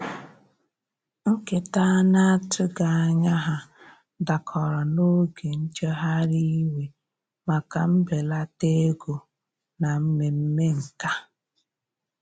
Nketa ana atughi anya ha dakọrọ n'oge njeghari iwe maka mbelata ego na mmeme nkà.